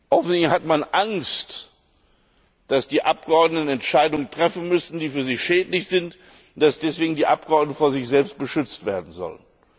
Offensichtlich hat man Angst, dass die Abgeordneten Entscheidungen treffen müssen, die für sie schädlich sind, und dass deshalb die Abgeordneten vor sich selbst beschützt werden sollen.